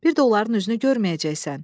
bir də onların üzünü görməyəcəksən.